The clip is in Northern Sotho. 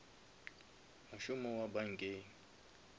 mošomo wa bankeng